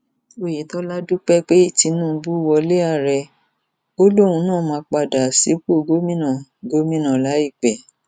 oyetola dúpẹ pé tinubu wọlé ààrẹ ó lòun náà máa padà sípò gómìnà gómìnà láìpẹ